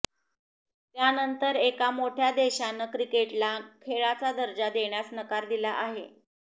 त्यानंतर एका मोठ्या देशानं क्रिकेटला खेळाचा दर्जा देण्यास नकार दिला आहे